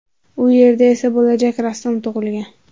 U yerda esa bo‘lajak rassom tug‘ilgan.